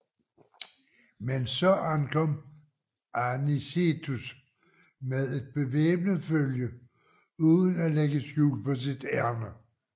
Men så ankom Anicetus med et bevæbnet følge uden at lægge skjul på sit ærinde